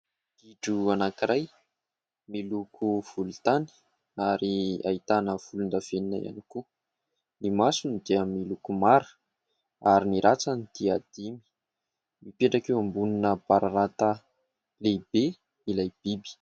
Gidro anankiray miloko volontany ary ahitany volondavenona ihany koa, ny masony dia miloko mara ary ny rantsany dia dimy, mipetraka eo ambonina bararata lehibe ilay biby.